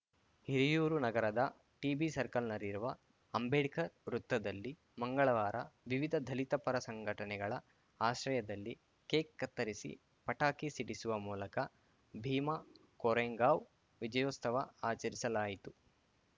ಹಿರಿಯೂರು ನಗರದ ಟಿಬಿಸರ್ಕಲ್‌ನಲ್ಲಿರುವ ಅಂಬೇಡ್ಕರ್‌ ವೃತ್ತದಲ್ಲಿ ಮಂಗಳವಾರ ವಿವಿಧ ದಲಿತ ಪರ ಸಂಘಟನೆಗಳ ಆಶ್ರಯದಲ್ಲಿ ಕೇಕ್‌ ಕತ್ತರಿಸಿ ಪಟಾಕಿ ಸಿಡಿಸುವ ಮೂಲಕ ಭೀಮಾ ಕೊರೆಂಗಾವ್‌ ವಿಜಯೋತ್ಸವ ಆಚರಿಸಲಾಯಿತು